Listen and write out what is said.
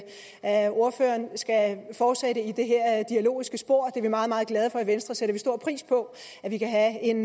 at ordføreren skal fortsætte i det her dialogiske spor er vi meget meget glade for i venstre sætter stor pris på at vi kan have en